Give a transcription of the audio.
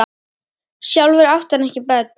Sjálfur átti hann ekki börn.